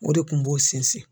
O de kun b'o sinsin.